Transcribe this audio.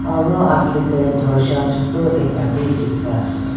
aro age te dorja chotu ekta bi dikhi ase.